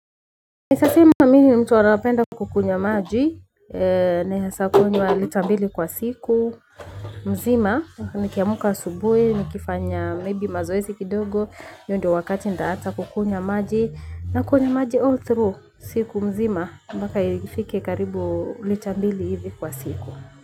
Naeza sema mimi ni mtu anapenda kukunywa maji. Naeza kunywa lita mbili kwa siku. Mzima, nikiamka asubuhi nikifanya maybe mazoezi kidogo hiyo ndo wakati ntaacha kukunywa maji. Nakunywa maji all through siku mzima. Mpaka ifike karibu lita mbili hivi kwa siku.